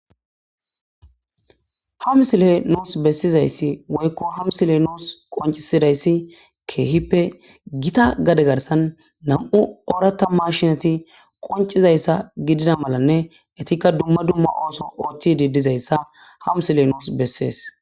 Ha misiley nus besizaysi woyko ha misiley nus qoncisidaysi kehippe gita gade garsan nam'u oratha mashineti qoncidaysa gidida malane etika dumma dumma ootho othidi dizaysa ha misiley nus beses